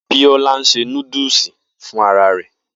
Bisola ń ṣe núdúsì fún ara rẹ̀